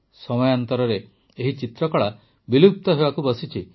ସମୟାନ୍ତରରେ ଏହି ଚିତ୍ରକଳା ବିଲୁପ୍ତ ହେବାକୁ ବସିଛି